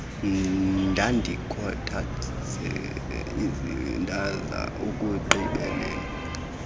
ndandikhathazekile ndaza ekugqibeleni